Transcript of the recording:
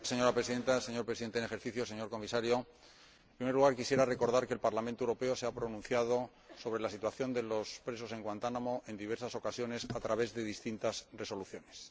Señora Presidenta, señor Presidente en ejercicio del Consejo, señor Comisario, en primer lugar quisiera recordar que el Parlamento Europeo se ha pronunciado sobre la situación de los presos en Guantánamo en diversas ocasiones a través de distintas resoluciones.